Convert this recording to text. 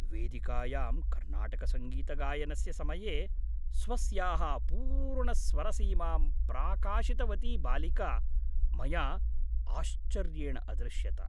वेदिकायां कर्नाटकसङ्गीतगायनस्य समये स्वस्याः पूर्णस्वरसीमां प्राकाशितवती बालिका मया आश्चर्येण अदृश्यत।